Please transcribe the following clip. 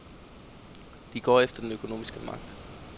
De går efter den økonomiske magt.